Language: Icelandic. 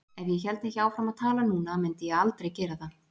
Ef ég héldi ekki áfram að tala núna mundi ég aldrei gera það.